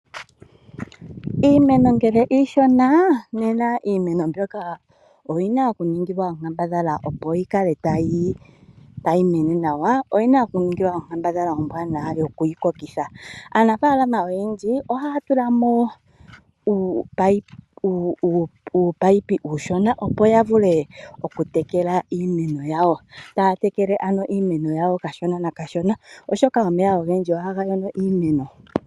Iimeno ngele iishona nena iimeno mbyoka oyina okuningilwa onkambadhala opo yikale tayi mene nawa. Oyina okuningilwa onkambadhala ombwaanawa yoku yikokitha. Aanafaalama oyendji ohaya tulamo oopayipi ooshona opo yavule okutekela iimeno yawo. Taatekele iimeno yawo kashona na kashona oshoka omeya ogendji ohaga mono iimeno.